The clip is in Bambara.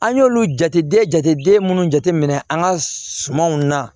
An y'olu jate minnu jateminɛ an ka sumanw na